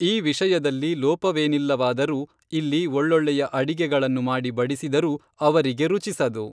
ಈ ವಿಷಯದಲ್ಲಿ ಲೋಪವೇನಿಲ್ಲವಾದರೂ ಇಲ್ಲಿ ಒಳ್ಳೊಳ್ಳೆಯ ಅಡಿಗೆಗಳನ್ನು ಮಾಡಿ ಬಡಿಸಿದರೂ ಅವರಿಗೆ ರುಚಿಸದು